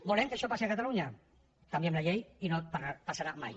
volem que això passi a catalunya canviem la llei i no passarà mai